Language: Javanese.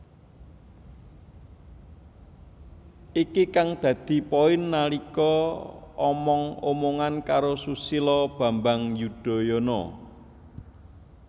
Iki kang dadi poin nalika omong omongan karo Susilo bambang Yudhoyono